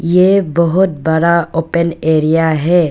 ये बहोत बड़ा ओपन एरिया है।